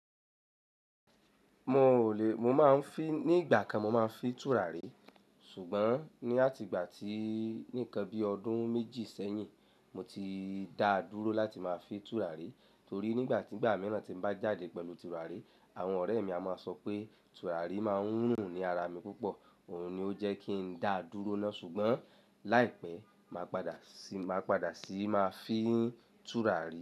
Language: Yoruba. Mo ò lè, mo máa ń fín ní ìgbà kan, mo máa ń fi tùràrí ṣùgbọ́n ní àtìgbà tí nìkan bí ọdún méjì sẹ́yìn, mo ti dáa dúró láti máa fi tùràrí torí nígbà tí ìgbà mìíràn tí mo bá jáde pẹ̀lú tùràrí, àwọn ọ̀rẹ́ mi a máa sọ pé tùràrí máa ń rùn ní ara mi púpọ̀. Òhun ni ó jẹ́ kí n dáa dúró náà ṣùgbọ́n láìpẹ́ màá padà sí, màá padà sí máa fi tùràrí.